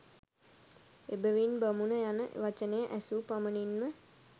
එබැවින් බමුණු යන වචනය ඇසූ පමණින්ම